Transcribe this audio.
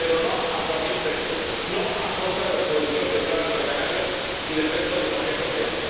Pero no a cualquier precio, no a costa de los productores de plátano de Canarias y del resto de la Unión Europea.